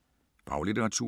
Faglitteratur